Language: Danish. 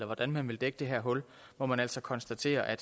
hvordan man vil dække det her hul må man altså konstatere at